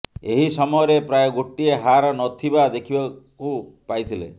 ଏହି ସମୟରେ ପ୍ରାୟ ଗୋଟିଏ ହାର ନଥିବା ଦେଖିବାକୁ ପାଇଥିଲେ